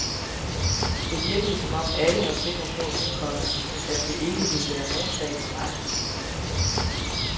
Det virkede som om alle var sikre på, komma at det ikke ville være nogen sag for mig. punktum